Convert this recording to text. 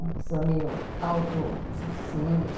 Uma pessoa meio autossuficiente.